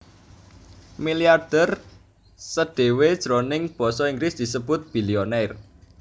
Milyarder sdhéwé jroning basa Inggris disebut billionaire